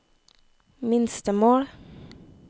minstemål